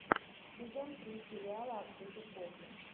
сезон три сериала открытый космос